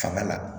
Fanga la